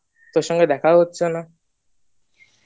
তোর সঙ্গে দেখাও হচ্ছে না।